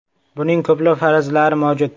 Buning ko‘plab farazlari mavjud.